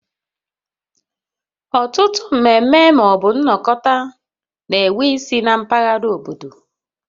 Ọtụtụ mmeme ma ọ bụ nnokota na enwe ise na mpaghara obodo